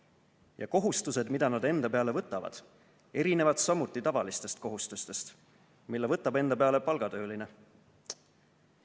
Ja kohustused, mida nad enda peale võtavad, erinevad samuti tavalistest kohustustest, mille võtab enda peale palgatööline.